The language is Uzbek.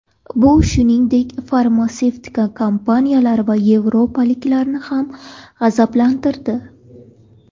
Bu, shuningdek, farmatsevtika kompaniyalari va yevropaliklarni ham g‘azablantirdi.